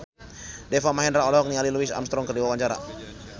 Deva Mahendra olohok ningali Louis Armstrong keur diwawancara